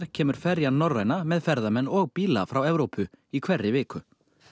kemur ferjan Norræna með ferðamenn og bíla frá Evrópu í hverri viku